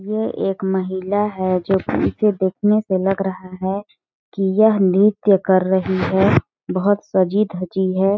ये एक महिला है जो कि इसे देखने से लग रहा है की यह नृत्य कर रही है बहुत सजी -धजी हैं।